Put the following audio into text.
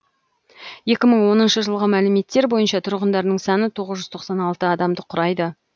екі мың оныншы жылғы мәліметтер бойынша тұрғындарының саны тоғыз жүз тоқсан алты адамды құрайды